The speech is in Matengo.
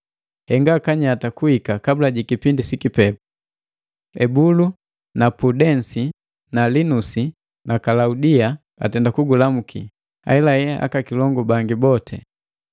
Henga kanyata kuhika kabula jiki kipindi sikipepu. Ebulu na Pudensi na Linusi na Kalaudia atenda kugulamuki, ahelahe aka kilongu bangi boti.